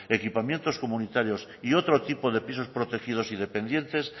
equipamientos comunitarios y otro tipo de pisos protegidos y dependientes